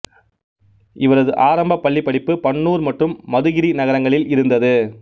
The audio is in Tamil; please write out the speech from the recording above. இவரது ஆரம்ப பள்ளிப்படிப்பு பன்னூர் மற்றும் மதுகிரி நகரங்களில் இருந்தது